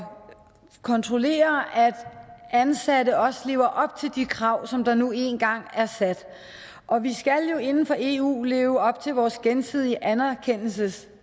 kontrollere at ansatte også lever op til de krav som der nu engang er sat og vi skal jo inden for eu leve op vores gensidige anerkendelseskrav